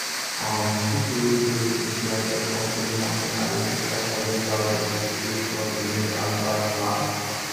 um people wey dey in charge of company money arrange 500000 to take run the new advert plan